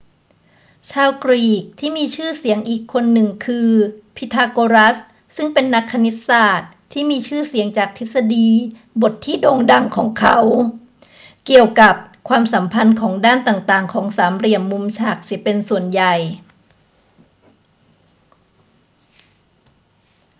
ชาวกรีกที่มีชื่อเสียงอีกคนหนึ่งคือพีทาโกรัสซึ่งเป็นนักคณิตศาสตร์ที่มีชื่อเสียงจากทฤษฎีบทที่โด่งดังของเขาเกี่ยวกับความสัมพันธ์ของด้านต่าง ๆ ของสามเหลี่ยมมุมฉากเสียเป็นส่วนใหญ่